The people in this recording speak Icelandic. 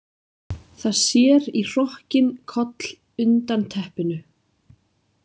Það sér í hrokkinn koll undan teppinu.